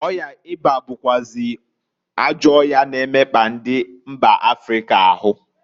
Ọya ịba bụkwazị ajọ ọya na-emekpa ndi mba Africa ahu.